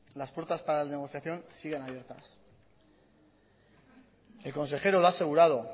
las puertas para la negociación siguen abiertas el consejero lo ha asegurado